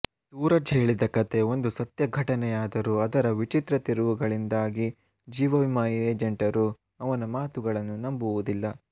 ಸೂರಜ್ ಹೇಳಿದ ಕಥೆ ಒಂದು ಸತ್ಯ ಘಟನೆಯಾದರೂ ಅದರ ವಿಚಿತ್ರ ತಿರುವುಗಳಿಂದಾಗಿ ಜೀವ ವಿಮಾ ಏಜೆಂಟರು ಅವನ ಮಾತುಗಳನ್ನು ನಂಬುವುದಿಲ್ಲ